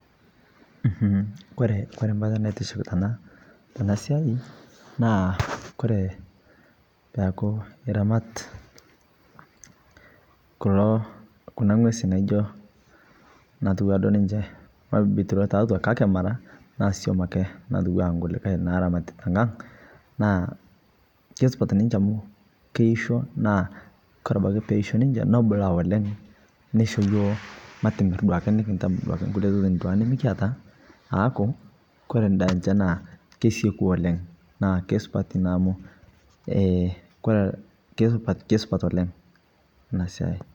kore peaku iramat kuna ngwezii naji nkuuree naa som ake natuwanaa nkulie naa kemirii sii abakii ninche nutum siai , kebulu sii ninchee asekuu oleng